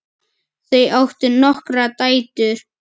Þau áttu nokkrar dætur.